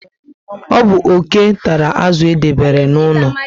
Ọ bu oke tàrà azụ edebere n'ụlọ